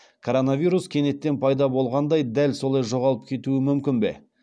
коронавирус кенеттен пайда болғандай дәл солай жоғалып кетуі мүмкін бе